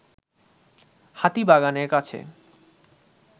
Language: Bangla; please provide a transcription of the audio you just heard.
হাতিবাগানের কাছে